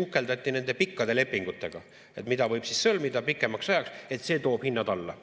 uhkeldati nende pikkade lepingutega, mida võib sõlmida pikemaks ajaks, et see toob hinnad alla.